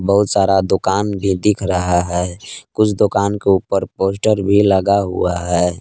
बहुत सारा दुकान भी दिख रहा है कुछ दुकान के ऊपर पोस्टर भी लगा हुआ है।